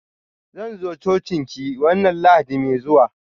Zan zo cocin ki wanna lahadi mai zuwa.